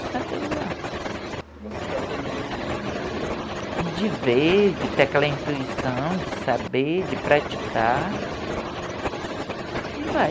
saber usar. Você está aprendendo de ver, de... De ver, de ter aquela intuição, de saber, de praticar, e vai.